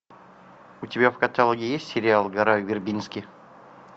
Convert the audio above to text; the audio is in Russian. у тебя в каталоге есть сериал гора вербински